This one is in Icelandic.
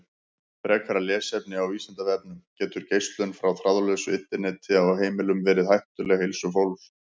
Frekara lesefni á Vísindavefnum: Getur geislun frá þráðlausu Interneti á heimilum verið hættuleg heilsu fólks?